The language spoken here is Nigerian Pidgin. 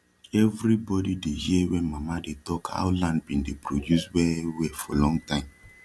everi bodi dey hear wen mama dey talk how land bin dey produce well well for long time